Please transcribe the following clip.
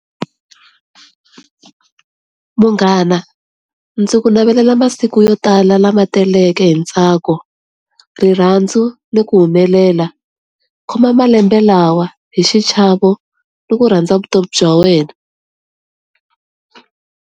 Munghana, ndzi ku navelela masiku yo tala lama taleke hi ntsako, rirhandzu, ni ku humelela. Khoma malembe lawa hi xichavo ni ku rhandza vutomi bya wena.